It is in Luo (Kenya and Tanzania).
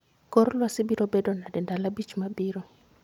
Kor lwasi biro bedo nade ndalo abich mabiro